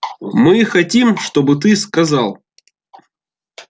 мы хотим чтобы ты сказал